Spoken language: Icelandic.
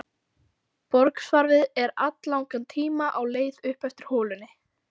Borsvarfið er alllangan tíma á leið upp eftir holunni.